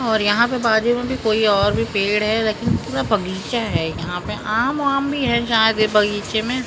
और यहाँ पे बाजू में भी कोई और भी पेड़ है लेकिन पूरा बगीचा है यहाँ पे आम वाम भी है शायद ये बगीचे में --